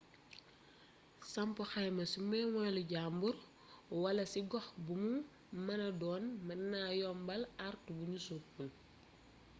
samp xayma ci moomelu jaamur wala ci gox bumu mëna don mën na yombal artu buñu sopul